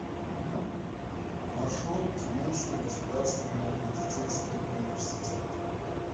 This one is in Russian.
маршрут тюменский государственный медицинский университет